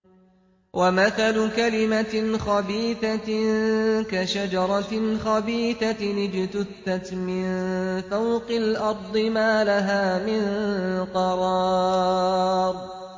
وَمَثَلُ كَلِمَةٍ خَبِيثَةٍ كَشَجَرَةٍ خَبِيثَةٍ اجْتُثَّتْ مِن فَوْقِ الْأَرْضِ مَا لَهَا مِن قَرَارٍ